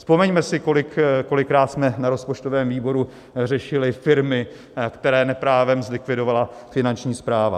Vzpomeňme si, kolikrát jsme na rozpočtovém výboru řešili firmy, které neprávem zlikvidovala Finanční správa.